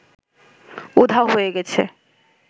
উধাও হয়ে গেছে